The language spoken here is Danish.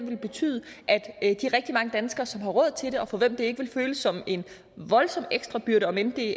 vil betyde at de rigtig mange danskere som har råd til det og for hvem det ikke vil føles som en voldsom ekstra byrde om end det